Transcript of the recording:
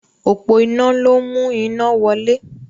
Òpó iná ló ń mú iná wọlé.